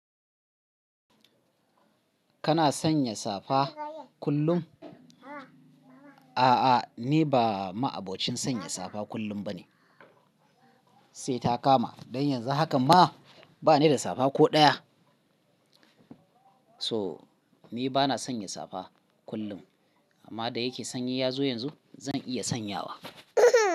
Kana sanya safa kullum? A'a, ni ba ma'abocin sanya safa kullum ba ne, sai ta kama. Dan yanzu haka ma, ba ni da safa ko ɗaya. So, ni ba na sanya safa kullum, amma da yake sanyi ya zo yanzu, zan iya sanyawa.